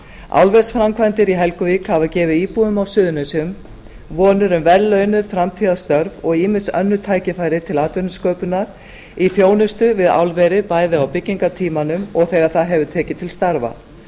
álversframkvæmdir í helguvík hafa gefið íbúum á suðurnesjum vonir um vellaunuð framtíðarstörf og ýmis önnur tækifæri til atvinnusköpunar í þjónustu við álverið bæði á byggingartímanum og þegar það hefur tekið til starfa